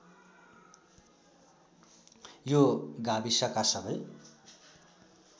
यो गाविसका सबै